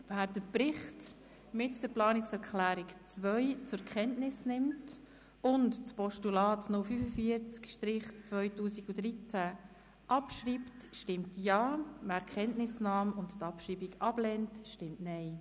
Wer den Bericht zusammen mit der Planungserklärung 2 zur Kenntnis nimmt und das Postulat 045-2013 abschreibt, stimmt Ja, wer die Kenntnisnahme und die Abschreibung ablehnt, stimmt Nein.